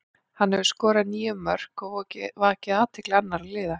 Hann hefur skorað níu mörk og vakið athygli annara liða.